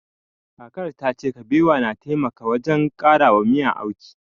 Kakar tace Kabewa na taimaka wajen ƙarawa miya auki